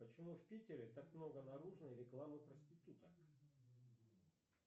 почему в питере так много наружной рекламы проституток